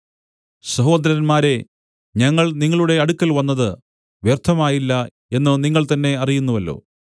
സഹോദരന്മാരേ ഞങ്ങൾ നിങ്ങളുടെ അടുക്കൽ വന്നത് വ്യർത്ഥമായില്ല എന്നു നിങ്ങൾ തന്നേ അറിയുന്നുവല്ലോ